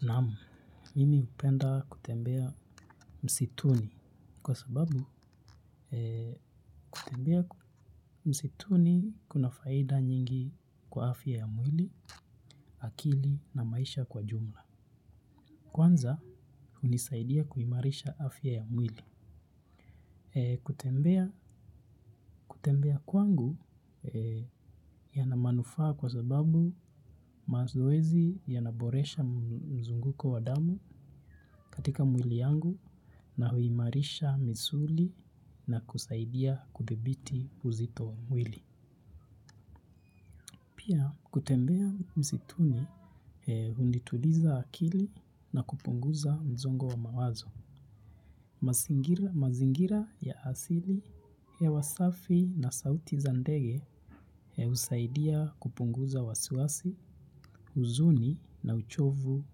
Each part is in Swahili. Naam, mimi hupenda kutembea msituni kwa sababu kutembea msituni kuna faida nyingi kwa afya ya mwili, akili na maisha kwa jumla. Kwanza, hunisaidia kuimarisha afya ya mwili. Kutembea kwangu yanamanufaa kwa sababu mazoezi yanaboresha mzunguko wa damu katika mwili yangu na huimarisha misuli na kusaidia kudhibiti uzito wa mwili. Pia kutembea msituni hunituliza akili na kupunguza msongo wa mawazo mazingira ya asili hewa safi na sauti za ndege yausaidia kupunguza wasiwasi, huzuni na uchovu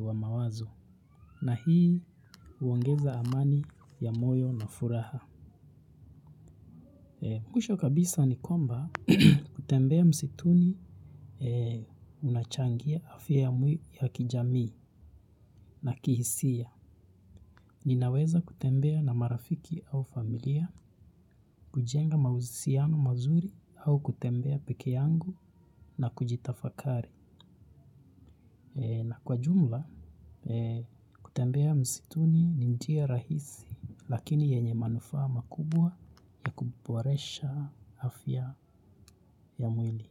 wa mawazo. Na hii huongeza amani ya moyo na furaha mwisho kabisa nikwamba kutembea msituni unachangia afya ya mwi ya kijamii na kihisia. Ninaweza kutembea na marafiki au familia, kujenga mahusiano mazuri au kutembea peke yangu na kujitafakari. Kwa jumla kutembea msituni ni njia rahisi lakini yenye manufaa makubwa yakuboresha afya ya mwili.